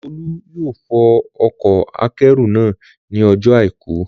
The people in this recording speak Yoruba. Olú yóò fọ ọkọ̀-akẹ́rù náà ní ọjọ́ àìkú